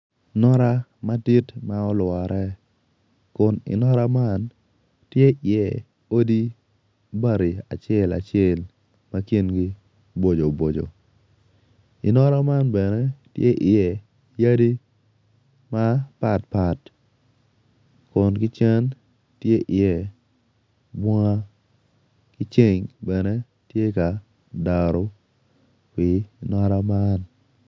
Nota madit ma olwore kun i nota man tye odi bati acel acel ma kingi bojo bojo. I nota man bene tye odi mapatpat kun kicen tye iye bunga ki ceng bene tye ka daro i nota man.